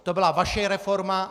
To byla vaše reforma.